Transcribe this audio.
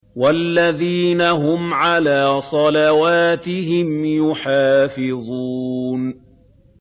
وَالَّذِينَ هُمْ عَلَىٰ صَلَوَاتِهِمْ يُحَافِظُونَ